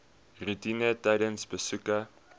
roetine tydens besoeke